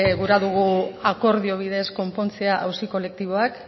gura dogu akordio bidez konpontzea auzi kolektiboak